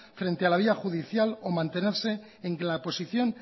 frente a la vía judicial o mantenerse en la posición